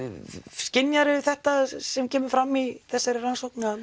skynjar þú þetta sem kemur fram í þessari rannsókn